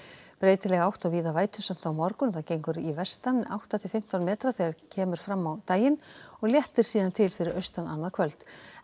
breytileg átt og víða á morgun gengur í vestan átta til fimmtán metra þegar kemur fram á daginn og léttir síðan til fyrir austan annað kvöld